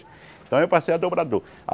Então eu passei a dobrador.